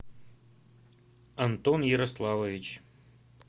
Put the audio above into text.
антон ярославович